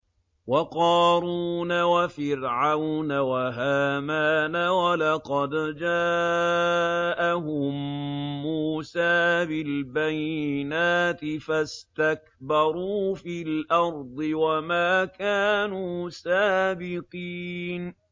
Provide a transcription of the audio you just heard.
وَقَارُونَ وَفِرْعَوْنَ وَهَامَانَ ۖ وَلَقَدْ جَاءَهُم مُّوسَىٰ بِالْبَيِّنَاتِ فَاسْتَكْبَرُوا فِي الْأَرْضِ وَمَا كَانُوا سَابِقِينَ